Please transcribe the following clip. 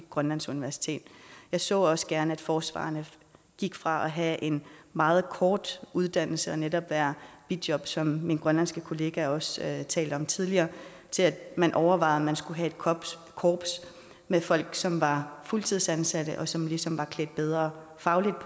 grønlands universitet jeg så også gerne at forsvarerne gik fra at have en meget kort uddannelse og netop være i bijob som min grønlandske kollega også talte om tidligere til at man overvejede om man skulle have et korps med folk som var fuldtidsansatte og som ligesom var lidt bedre fagligt